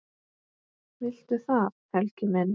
Viltu það, Helgi minn?